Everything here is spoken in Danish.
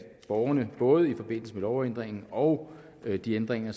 borgerne både i forbindelse med lovændringen og de ændringer